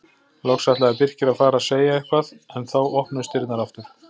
Loks ætlaði Birkir að fara að segja eitthvað en þá opnuðust dyrnar aftur.